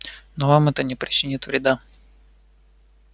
но вам это не причинит вреда